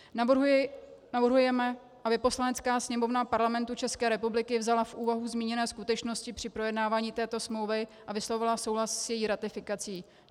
Navrhujeme, aby Poslanecká sněmovna Parlamentu České republiky vzala v úvahu zmíněné skutečnosti při projednávání této smlouvy a vyslovila souhlas s její ratifikací.